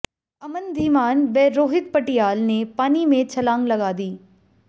अमन धीमान व रोहित पटियाल ने पानी में छलांग लगा दी